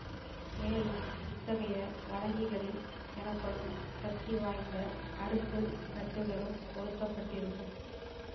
மேலும் இத்தகைய வழங்கிகளில் எனப்படும் சக்திவாய்ந்த அடுக்கு தட்டுகளும் பொருத்த பட்டிருக்கும்